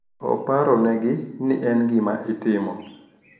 Oparonegi ni en gima itimo